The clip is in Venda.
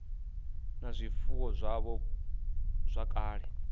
na zwifuwo zwavho zwa kale